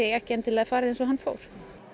ekki endilega farið eins og hann fór